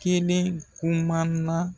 Kelen kuma na